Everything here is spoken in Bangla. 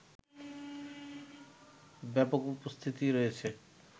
ব্যাপক উপস্থিতি রয়েছে